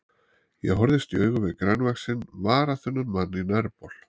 Ég horfist í augu við grannvaxinn, varaþunnan mann á nærbol.